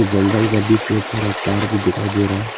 जंगल का बीच में थोड़ा तार भी दिखाई दे रहा है।